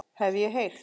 Hef ég heyrt.